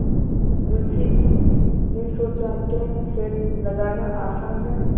मुंशी जी ने सोचाक्या सेंध लगाना आसान है